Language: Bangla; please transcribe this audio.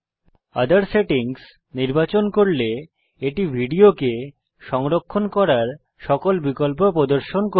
ওঠের সেটিংস নির্বাচন করলে এটি ভিডিও কে সংরক্ষণ করার সকল বিকল্প প্রদর্শন করবে